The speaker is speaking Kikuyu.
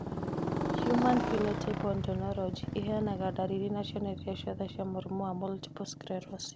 Human Phenotype Ontology ĩheanaga ndariri na cionereria ciothe cia mũrimũ wa Multiple sclerosis.